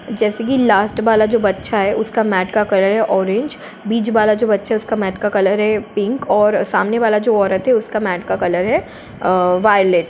जैसे की लास्ट वाला जो बच्चा है उसका मटका करें ऑरेंज बीच वाला जो बच्चा उसका मेट का कलर है पिंक और सामने वाला जो औरत है उसकी मेट का कलर है वायलेट ।